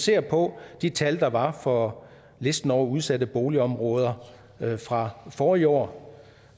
ser på de tal der var på listen over udsatte boligområder fra forrige år